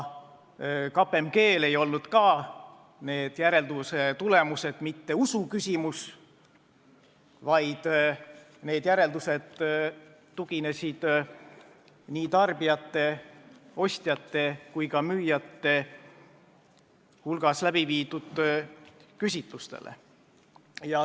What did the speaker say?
KPMG-l ei olnud ka need järeldused mitte usu küsimus, vaid need tuginesid nii ostjate kui ka müüjate hulgas läbi viidud küsitlustele.